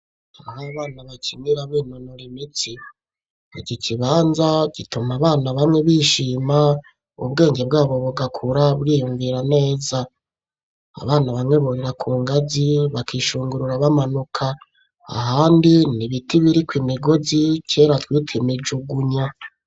N'abana bakinira binonora imitsi, iki kibanza gituma abana bamwe bishima ubwenge bwabo bugakura bwiyumvira neza abana bamwe burira ku ngazi bakishungurura bamanuka ahandi nibiti biriko imigozi kera twita imijugunya.